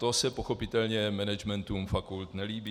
To se pochopitelně managementům fakult nelíbí.